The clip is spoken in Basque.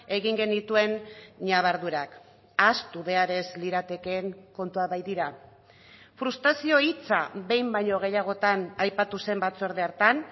egin genituen ñabardurak ahaztu behar ez liratekeen kontuak baitira frustrazio hitza behin baino gehiagotan aipatu zen batzorde hartan